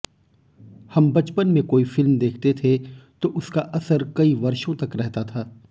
हम बचपन में कोई फिल्म देखते थे तो उसका असर कई वर्षों तक रहता था